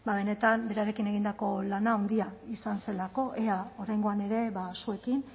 benetan berarekin egindako lana handia izan zelako ea oraingoan ere zuekin